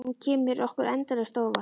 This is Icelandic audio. Og hún kemur okkur endalaust á óvart.